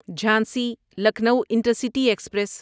Jhansi Lucknow intercity express